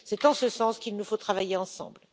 C'est en ce sens qu'il nous faut travailler ensemble.